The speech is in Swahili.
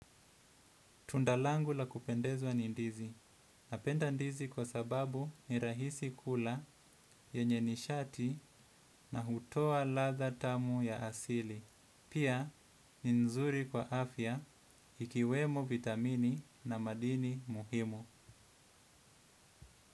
Tunda langu la kupendezwa ni ndizi. Napenda ndizi kwa sababu ni rahisi kula yenye nishati na hutoa ladha tamu ya asili. Pia ni nzuri kwa afya ikiwemo vitamini na madini muhimu.